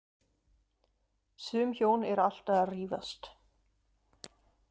Sum hjón eru alltaf að rífast.